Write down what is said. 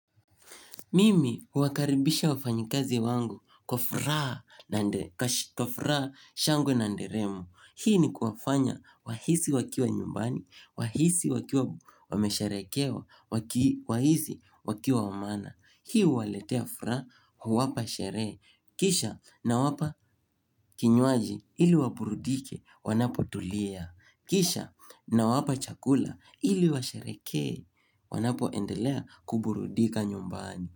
Mimi huakaribisha wafanyikazi wangu kwa furaa shango na nderemo Hii ni kuwafanya wahisi wakiwa nyumbani, wahisi wakiwa wamesharekewa, wahisi wakiwa wamaana. Hii huwaletea furaa huwapa sherehe Kisha na wapa kinywaji ili waburudike wanapotulia. Kisha na wapa chakula ili washerekee wanapoendelea kuburudika nyumbani.